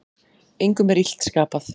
Engum er illt skapað.